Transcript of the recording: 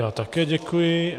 Já také děkuji.